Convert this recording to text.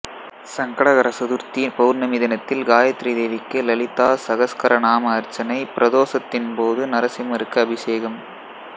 சங்கடகரசதுர்த்திபௌர்ணமி தினத்தில் காயத்ரி தேவிக்கு லலிதா சகஸ்கர நாம அர்ச்சனைபிரதோசத்தின் போது நரசிம்மருக்கு அபிசேகம்